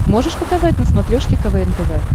можешь показать на смотрешке квн тв